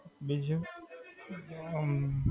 બીજું, આમ.